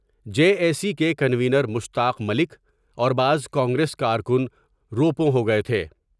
J A C K کنو نیز مشتاق ملک اور بعض کانگریس کارکن روپوں ہو گئے تھے ۔